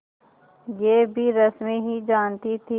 यह भी रश्मि ही जानती थी